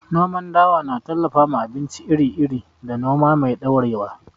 Noman dawa na tallafawa abinci iri-iri da noma mai ɗorewa.